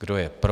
Kdo je pro?